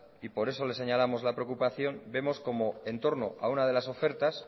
y por eso les señalamos la preocupación vemos como entorno a una de las ofertas